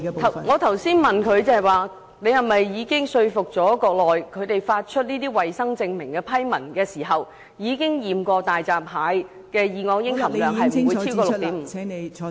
我剛才問她是否已說服內地，在批出衞生證明的批文前進行檢測，以確保大閘蟹的二噁英含量不超過 6.5 皮克？